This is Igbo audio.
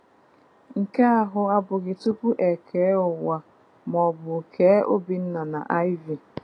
Nke ahụ abụghị tupu e kee ụwa maọbụ kee Obinna na Iv.